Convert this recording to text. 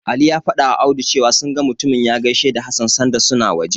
Ali ya fadawa Audu cewa, sun ga mutumin ya gaishe da Hassan sanda suna waje.